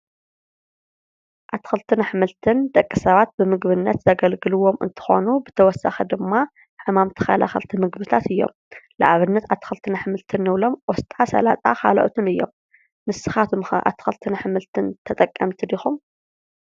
ኣትክልትን አሕምልትን ንደቂሰባት ብምግብነት ዘገልግሉዎም እንትኾኑ ብተወሳኺ ድማ ሕማም ተከላከልቲ ምግብታት እዮም። ንአብነት አትክልትን አሕምልትን ንብሎም ቆስጣ፣ ሰላጣ ካልኦትን እዮም ንስካትኹም ከ አትክልትን አሕምልትን ተጠቀምቲ ዲኩም ?